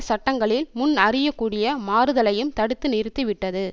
சட்டங்களில் முன்னறியக்கூடிய மாறுதலையும் தடுத்து நிறுத்திவிட்டது